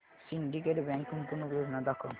Syndicate Bank गुंतवणूक योजना दाखव